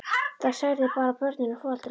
Það særði bara börnin og foreldrana.